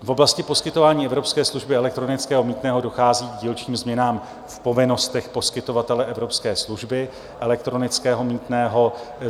V oblasti poskytování evropské služby elektronického mýtného dochází k dílčím změnám v povinnostech poskytovatele evropské služby elektronického mýtného.